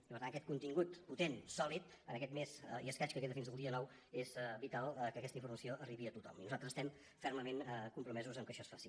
i per tant aquest contingut potent sòlid en aquest mes i escaig que queda fins al dia nou és vital que aquesta informació arribi a tothom i nosaltres estem fermament compromesos que això es faci